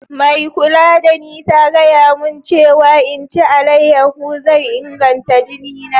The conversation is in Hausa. Mai kulla da ni ta gaya mun cewa n'ci alayeho zai inganta jini na.